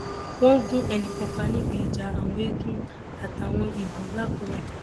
wọn gun ẹnì kan pa níbi ìjà àwọn eegun àtàwọn ibo làkúrẹ